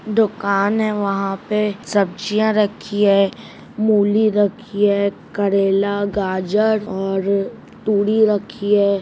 दुकान है वहाँ पर सब्जियाँ रखी हैं मूली रखी है करेला गाजर और तुरी रखी है।